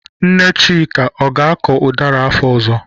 Nne Chika, ọ ga-akọ ụdara afọ ọzọ?